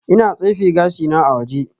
Ina tsefe gashina a waje